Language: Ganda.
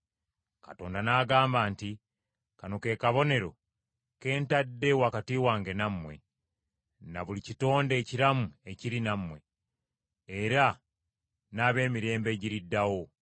Katonda n’agamba nti, “Kano ke kabonero ke nteeka wakati wange nammwe, na buli kitonde ekiramu ekiri nammwe, era n’ab’emirembe egiriddawo.